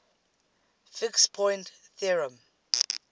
fixed point theorem